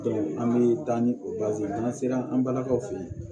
an bɛ taa ni o n'an sera an balakaw fɛ yen